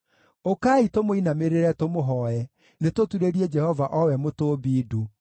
Ũkai, tũmũinamĩrĩre tũmũhooe, nĩtũturĩrie Jehova o we Mũtũũmbi ndu;